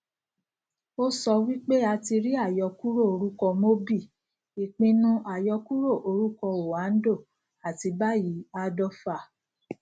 ó sọ wí pé a ti rí àyọkúrò orúkọ mobil ìpinnu àyọkúrò orúkọ oando àti báyìí ardova